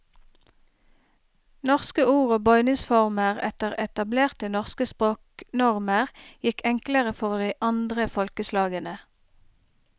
Norske ord og bøyningsformer etter etablerte norske språknormer gikk enklere for de andre folkeslagene.